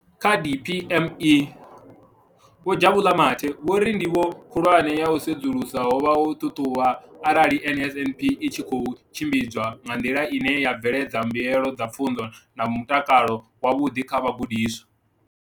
Kha DPME, Vho Jabu Mathe, vho ri ndivho khulwane ya u sedzulusa ho vha u ṱhaṱhuvha arali NSNP i tshi khou tshimbidzwa nga nḓila ine ya bveledza mbuelo dza pfunzo na mutakalo wavhuḓi kha vhagudiswa.